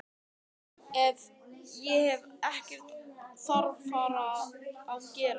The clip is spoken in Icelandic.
Ég hef ekkert þarfara að gera.